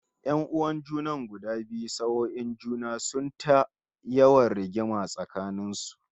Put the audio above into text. Yan'uwan junan guda biyu sak'on juna, sun yi ta yawan yin rigima tsakanin su